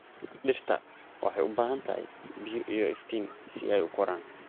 Dhirta waxay u baahan tahay biyo iyo iftiin si ay u koraan.